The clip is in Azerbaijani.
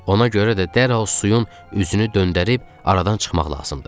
Ona görə də dərhal suyun üzünü döndərib aradan çıxmaq lazımdır.